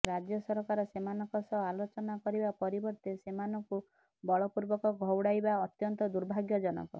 ରାଜ୍ୟ ସରକାର ସେମାନଙ୍କ ସହ ଆଲୋଚନା କରିବା ପରିବର୍ତ୍ତେ ସେମାନଙ୍କୁ ବଳପୂର୍ବକ ଘଉଡ଼ାଇବା ଅତ୍ୟନ୍ତ ଦୁର୍ଭାଗ୍ୟଜନକ